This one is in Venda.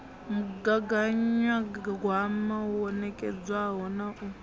mugaganyagwama wo nekedzwaho na u